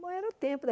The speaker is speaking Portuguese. Bom, era o tempo da.